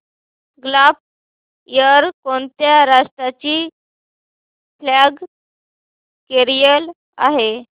gulf Air कोणत्या राष्ट्राची flag carrier आहे